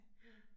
Ja